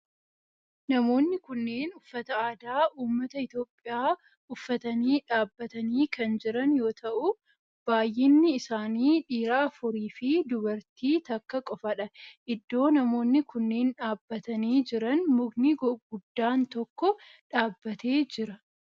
Namoonni kunneen uffata aadaa ummata Itiyoophiyaa uffatanii dhaabbatanii kan jiran yoo ta'u baayyinni isaanii dhiira afuri fi dubartii takka qofadha. iddoo namoonni kunneen dhaabbatanii jiran mukni guddaan tokko dhaabbatee jira.